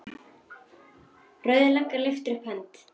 Rauða löggan lyftir upp hönd.